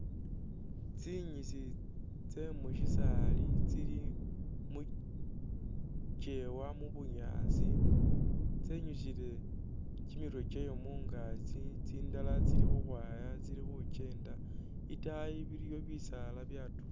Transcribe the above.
Tsinyisi tse mushisali tsili mukyewa mubunyaasi tse nyusile kyimirwe kyayo mungakyi tsindala tsili khukhwaya tsili khukyenda itayi biliyo bisala byatu